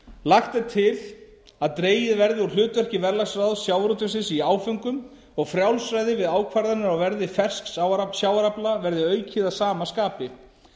lagt er til að dregið verði úr hlutverki verðalagsráðs sjávarútvegsins í áföngum og frjálsræði við ákvarðanir á verði fersks sjávarafla verði aukið að sama skapi